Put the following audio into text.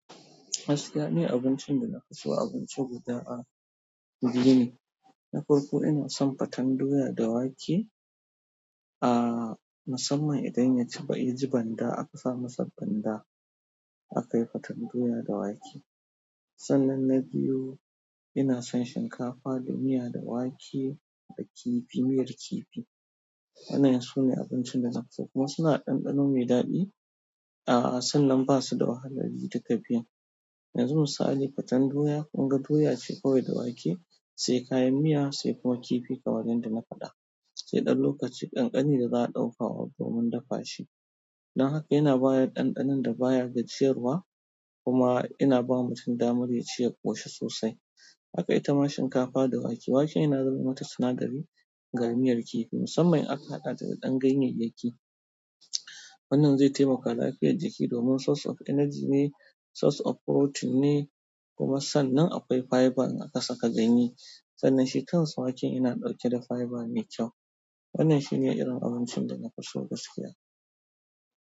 Gaskiya ni abincin da nafi so abinci guda a biyu ne. Na farko ina son faten doya da wake. Aaa musamman idan ya ci, ya ji banda aka sa masa banda aka yi fatan doya da wake. Sannan na biyu ina son shinkafa da miya da wake da kifi, miyar kifi. Wannan sune abincin da nafi so kuma suna da ɗanɗano mai daɗi. Aaa sannan basu da wahalar yi duka biyun. Yanzu misali faten doya, kun ga doya ce kawai da wake, sai kayan miya, sai kuma kifi kamar yadda nafaɗa. Sai ɗan lokaci ƙanƙani da za a ɗauka wa domin dafa shi. Dan haka yana bada ɗanɗanan da baya gajiyarwa kuma yana bawa mutum damar yaci ya ƙoshi sosai. Haka ita ma shinkafa da wake, waken yana zamai mata sinadari ga miyar kifi musamman in aka haɗa ta da ɗan ganyayyaki. Wannan zai taimaka lafiyar jiki domin source of energy ne, source of protein ne kuma sannan akwai fiber in aka saka ganye. Sannan shi kansa waken yana ɗauke da fiber mai kyau. Wannan shi ne irin abincin da nafi so gaskiya.